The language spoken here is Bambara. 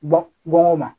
Bɔ bɔn o ma